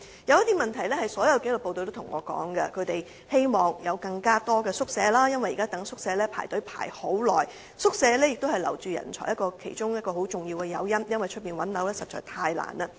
有一些問題是所有紀律部隊均有向我反映的，例如他們希望有更多宿舍，因為現時輪候宿舍需時甚久，提供宿舍是留住人才其中一個相當重要的誘因，因為在外物色居所實在太難了。